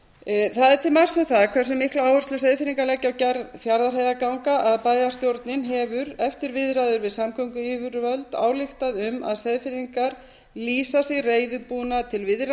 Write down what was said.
er til marks um það hversu mikla áherslu seyðfirðingar leggja á gerð fjarðarheiðarganga að bæjarstjórnin hefur eftir viðræður við samgönguyfirvöld ályktað um að seyðfirðingar lýsa sig reiðubúna til viðræðna um að